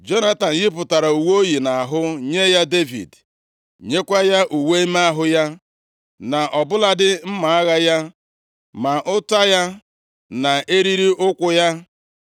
Jonatan yipụtara uwe o yi nʼahụ nye ya Devid, nyekwa ya uwe ime ahụ ya, na ọ bụladị mma agha ya, ma ụta ya na eriri ukwu + 18:4 Maọbụ, belịt ya.